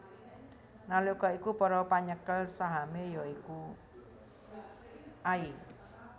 Nalika iku para penyekel sahame ya iku i